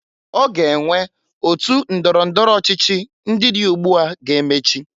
Ọ ge enwe otu ndọrọ ndọrọ ọchịchị ndị dị ugbu a ga-emechi.